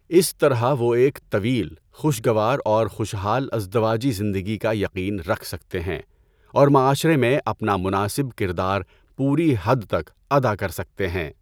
اس طرح وہ ایک طویل، خوشگوار اور خوشحال ازدواجی زندگی کا یقین رکھ سکتے ہیں اور معاشرے میں اپنا مناسب کردار پوری حد تک ادا کر سکتے ہیں۔